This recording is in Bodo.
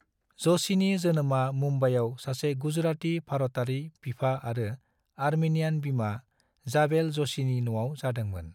जोशीनि जोनोमआ मुंबईआव सासे गुजराती भारतारि बिफा आरो अर्मेनियान बिमा, जाबेल ज'शीनि न'आव जादोंमोन।